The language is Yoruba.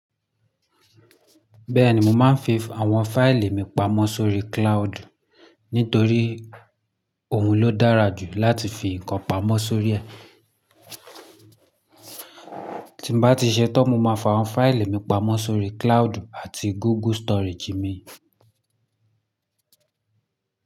Bẹ́ẹ̀ni, mo máa ń fi àwọn fáìlì mi pamọ́ sórí cloud nítorí òun ló dára jù láti fi nǹkan pamọ́ sórí ẹ. Tí mo bá ti ṣetán, mo máa fa àwọn fáìlì mi pamọ́ sórí cloud àti Google storage mi.